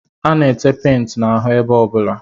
A na-ete penti n'ahụ ebe ọbụla